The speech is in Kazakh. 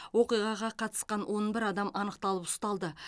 оқиғаға қатысқан он бір адам анықталып ұсталды